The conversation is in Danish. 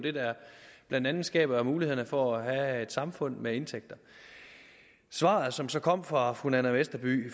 blandt andet skaber muligheden for at have et samfund med indtægter svaret som så kom fra fru nanna westerby